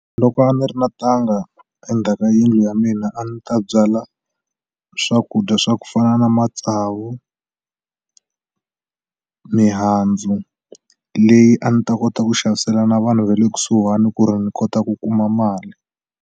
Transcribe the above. Loko a ni ri na ntanga endzhaka yindlu ya mina a ni ta byala swakudya swa ku fana na matsavu mihandzu leyi a ni ta kota ku xavisela na vanhu ve le kusuhani ku ri ni kota ku kuma mali.